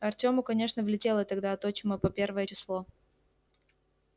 артёму конечно влетело тогда от отчима по первое число